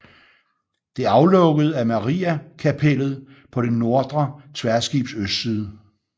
Det aflukkede er Mariakapellet på det nordre tværskibs østside